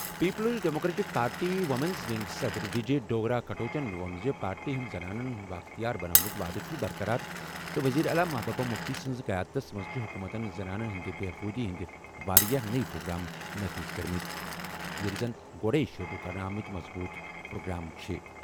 Peoples Democratic Party women's ونگٕچ صدر وجے ڈوگرہ کٹوچَن ووٚن زِ پارٹی ہُنٛد زنانَن بااختیار بناونُک وعدٕ چھُ برقرار تہٕ وزیر اعلیٰ محبوبہ مفتی سنٛز قیادتَس منٛز چھِ حکومتَن زنانَن ہٕنٛدِ بہبوٗدی ہٕنٛدۍ واریاہ نٔوۍ پروگرام نافذ کٔرمٕتۍ ییٚلہِ زن گۄڈَے شُروٗع کرنہٕ آمٕتۍ مضبوٗط پروگرام چھِ۔